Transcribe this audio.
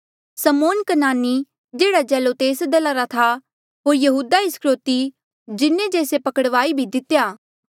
समौन कनानी जेहड़ा जेलोतेस दला रा था होर यहूदा इस्करयोति जिन्हें जे से पकड़वाई भी दितेया